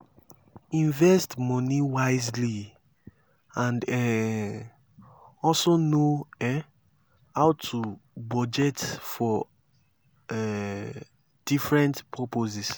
invest money wisely and um also know um how to budget for um different purposes